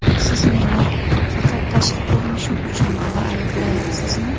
Siz meni faqat tashqi ko‘rinishim uchungina ayblayapsizmi?